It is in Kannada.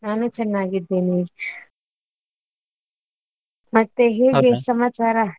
ನಾನು ಚೆನ್ನಾಗಿದ್ದೇನೆ, ಮತ್ತೆ ಸಮಾಚಾರಾ?